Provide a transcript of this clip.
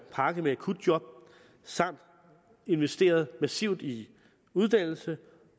pakke med akutjob samt investerede massivt i uddannelse